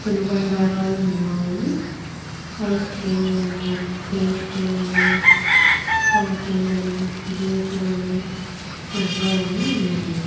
తిను బండరాళ్ళు ఉన్ని ఐస్ క్రీం లు అని పెదిస్తిరి లు అని కాఫ్ఫే లు అని జ్యూస్ లు అని పిజ్జాలు వున్నాయ్.